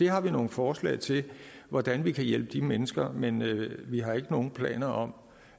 har vi nogle forslag til hvordan vi kan hjælpe de mennesker men vi har ikke nogen planer om